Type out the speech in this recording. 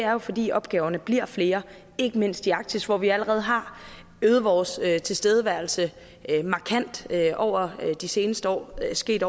er jo fordi opgaverne bliver flere ikke mindst i arktis hvor vi allerede har øget vores tilstedeværelse markant over de seneste år det er sket